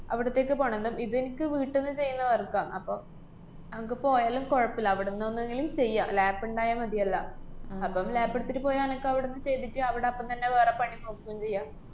അവിടത്തേക്ക് പോണം. ന്നാ ഇദെനിക്ക് വീട്ട്ന്ന് ചെയ്യുന്ന work ആ. അപ്പ അനക്ക് പോയാലും കൊഴപ്പില്ല. അവിടൊന്നെങ്കിലും ചെയ്യാം. lap ഇണ്ടായാ മതിയല്ലാ? അപ്പം lap എട്ത്തിട്ട് പോയാ എനക്കവിടന്ന് ചെയ്തിട്ട് അവിടെ അപ്പം തന്നെ വേറെ പണി നോക്കേം ചെയ്യാം.